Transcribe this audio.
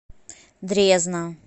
дрезна